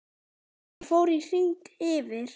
Hann fór í hring yfir